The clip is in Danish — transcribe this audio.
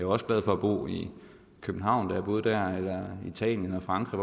også glad for at bo i københavn da jeg boede dér eller italien eller frankrig